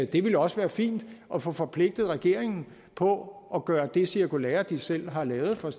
det ville også være fint at få forpligtet regeringen på at gøre det cirkulære de selv har lavet for